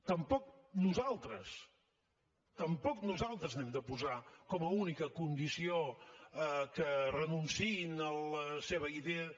tampoc nosaltres tampoc nosaltres hem de posar com a única condició que renunciïn a la seva idea